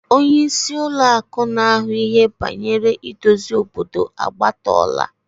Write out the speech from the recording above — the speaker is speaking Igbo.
Onye isi Ụlọ akụ na ahu ihe bangere idozi obodo agbatola.